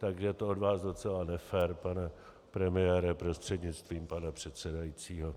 Takže to je od vás docela nefér, pane premiére prostřednictvím pana předsedajícího.